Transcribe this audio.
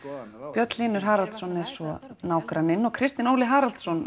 Björn Hlynur Haraldsson er svo nágranninn og Kristinn Óli Haraldsson